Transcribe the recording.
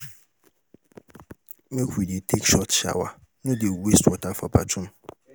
Make we dey take short shower, no dey waste water for bathroom.